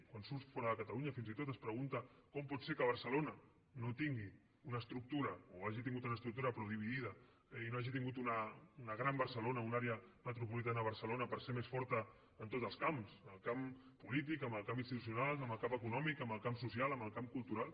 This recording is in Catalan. quan surts fora de catalunya fins i tot es pregunta com pot ser que barcelona no tingui una estructura o hagi tingut una estructura però dividida i no hagi tingut una gran barcelona una àrea metropolitana de barcelona per ser més forta en tots els camps en el camp polític en el camp institucional en el camp econòmic en el camp social en el camp cultural